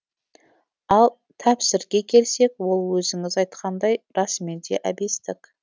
ал тәпсірге келсек ол өзіңіз айтқандай расымен де әбестік